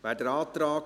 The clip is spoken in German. Wer den Antrag